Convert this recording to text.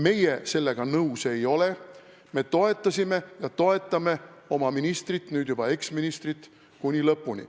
Meie sellega nõus ei ole, me toetasime ja toetame oma ministrit, nüüd juba eksministrit, kuni lõpuni.